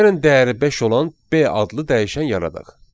Gəlin dəyəri beş olan B adlı dəyişən yaradaq.